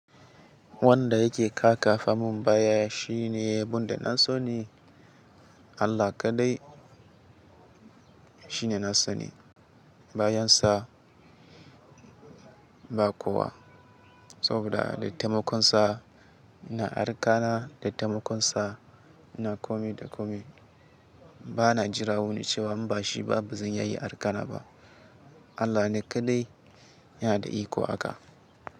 Wanda yake kakafa mun baya shine abun da na sani. Allah kaɗai shine na sani. Bayansa ba kowa. Saboda da taimakon sa ina arka na. Da taimakon sa ina komi da komi. Bana jira wani cewa in ba shi ba bazan iya arka na ba. Allah ne kaɗai yana da iko haka.